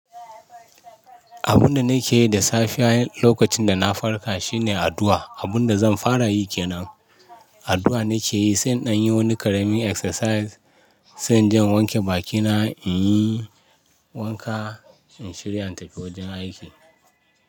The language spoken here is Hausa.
Abun da nake yi da safe lokacin da na farka shine addu'a. Abun da zan fara yi ke nan addu'a nake yi, sai in anyi wani karamin exercise, sai inje in wanke bakina, in yi wanka, in shirya in tafi wajen aiki.